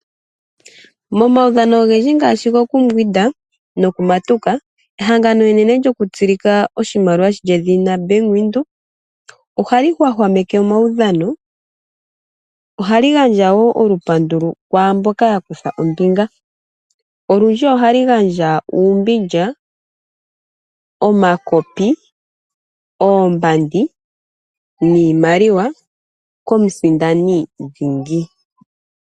Momaudhano ogendji ngaashi gokumbwinda nokumatuka, ehangano enene lyokutsilika oshimaliwa lye dhina Bank Windhoek ohali hwahwameke omaudhano. Ohali gandja wo olupandu kwaamboka yakutha ombinga. Olundji ohali gandja uumbilya, omakopi, oombandi niimaliwa komusindani dhingi.